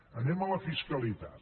anem a la fiscalitat